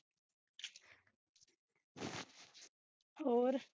ਹੋਰ